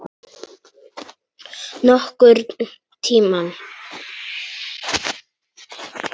Nokkurn tímann.